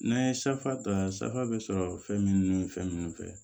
N'an ye safa ta safa bɛ sɔrɔ fɛn minnu ni fɛn ninnu fɛ